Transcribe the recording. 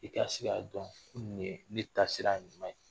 I ka ka se k'a dɔn ko nin de ye ne taasira ɲuman ye